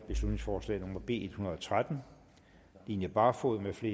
beslutningsforslag nummer b en hundrede og tretten line barfod mfl